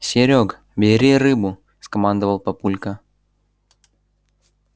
серёг бери рыбу скомандовал папулька